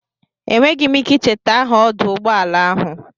Enweghị m ike icheta aha ọdụ ụgbọala ahụ.